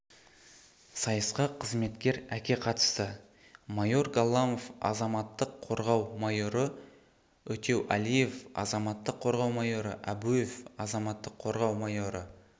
сайысқа қызметкер әкеқатысты майор галламов азаматтық қорғау майоры утеулиев азаматтық қорғау майоры абуев азаматтық қорғау майоры